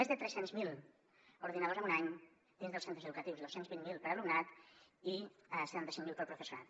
més de tres cents miler ordinadors en un any dins dels centres educatius dos cents i vint miler per a l’alumnat i setanta cinc mil per al professorat